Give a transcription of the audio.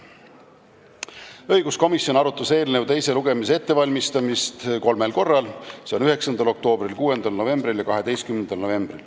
Õiguskomisjon arutas eelnõu teise lugemise ettevalmistamist kolmel korral: 9. oktoobril, 6. novembril ja 12. novembril.